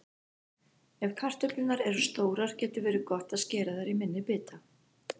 Ef kartöflurnar eru stórar getur verið gott að skera þær í minni bita.